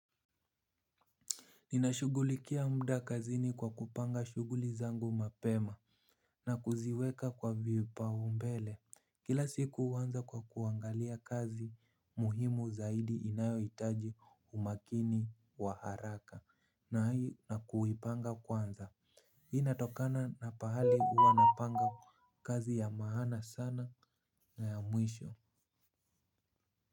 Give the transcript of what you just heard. Ninashughulikia muda kazini kwa kupanga shughuli zangu mapema na kuziweka kwa vipaumbele. Kila siku huanza kwa kuangalia kazi muhimu zaidi inayohitaji umakini wa haraka na hii na kuipanga kwanza. Hii inatokana na pahali huwa napanga kazi ya maana sana na ya mwisho.